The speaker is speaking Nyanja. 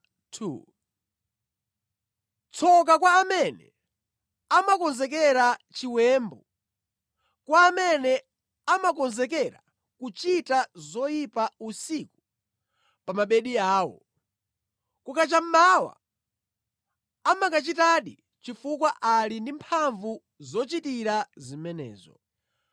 Tsoka kwa amene amakonzekera chiwembu, kwa amene amakonzekera kuchita zoyipa usiku pa mabedi awo! Kukacha mmawa amakachitadi chifukwa ali ndi mphamvu zochitira zimenezo.